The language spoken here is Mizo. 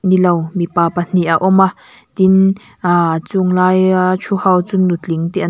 nilo mipa pahnih a awm a tin aaa a chung laia ṭhu ho chu nutling te an --